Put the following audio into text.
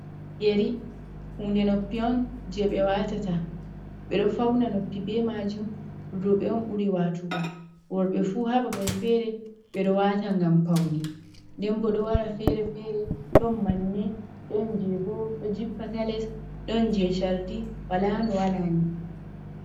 Yari hunde noppi on je ɓe watata. Ɓe ɗo fauna noppi be majum roɓɓe on ɓuri watugo worɓe fu ha babar fere ɓe ɗo wata ngam faune, nden bo ɗo wara fere-fere ɗon manne, ɗon je bo ɗo jippa ta les, ɗon je chardi, wala no wala ni.